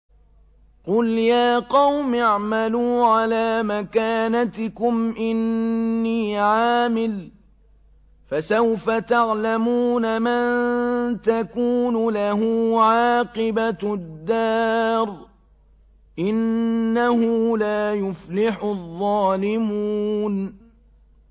قُلْ يَا قَوْمِ اعْمَلُوا عَلَىٰ مَكَانَتِكُمْ إِنِّي عَامِلٌ ۖ فَسَوْفَ تَعْلَمُونَ مَن تَكُونُ لَهُ عَاقِبَةُ الدَّارِ ۗ إِنَّهُ لَا يُفْلِحُ الظَّالِمُونَ